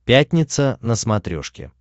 пятница на смотрешке